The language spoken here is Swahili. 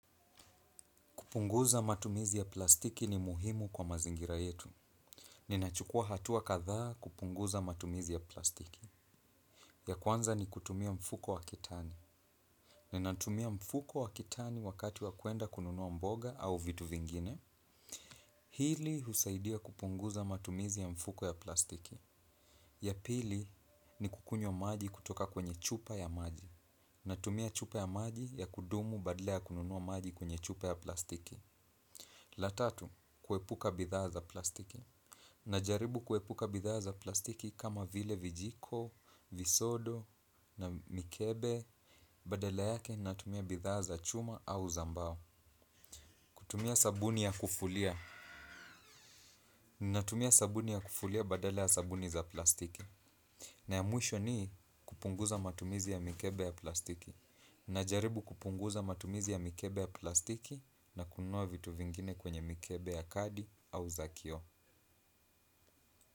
Kupunguza matumizi ya plastiki ni muhimu kwa mazingira yetu. Ninachukua hatua kadhaa kupunguza matumizi ya plastiki. Ya kwanza ni kutumia mfuko wa kitani. Ninatumia mfuko wa kitani wakati wa kuenda kununua mboga au vitu vingine. Hili husaidia kupunguza matumizi ya mfuko ya plastiki. Ya pili ni kukunywa maji kutoka kwenye chupa ya maji. Natumia chupa ya maji ya kudumu badala kununua maji kwenye chupa ya plastiki. La tatu, kuepuka bidhaa za plastiki. Najaribu kuepuka bidhaa za plastiki kama vile vijiko, visodo na mikebe badala yake natumia bidhaa za chuma au za mbao. Kutumia sabuni ya kufulia. Natumia sabuni ya kufulia badala ya sabuni za plastiki. Na ya muisho ni kupunguza matumizi ya mikebe ya plastiki. Najaribu kupunguza matumizi ya mikebe ya plastiki na kununua vitu vingine kwenye mikebe ya kadi au za kioo.